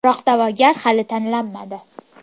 Biroq da’vogar hali tanlanmadi.